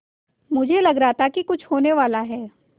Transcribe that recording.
मुझे लग रहा था कि कुछ होनेवाला है